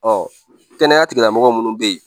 Ɔ kɛnɛya tigila mɔgɔ minnu bɛ yen